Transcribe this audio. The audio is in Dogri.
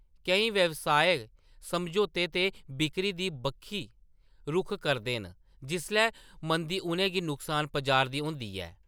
केईं व्यवसाय समझौते ते बिक्करी दी बक्खी रुख करदे न जिसलै मंदी उʼनें गी नुकसान पजा'रदी होंदी ऐ।